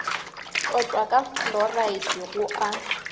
tlotšwa ka fluoride go a